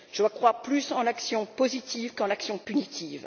Je crois plus en l'action positive qu'en l'action punitive.